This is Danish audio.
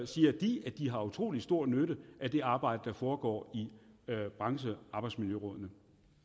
siger de at de har utrolig stor nytte af det arbejde der foregår i branchearbejdsmiljørådene